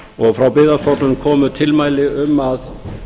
og frá byggðastofnun komu tilmæli um að